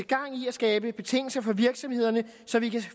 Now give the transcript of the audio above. gang i at skabe betingelser for virksomhederne så vi kan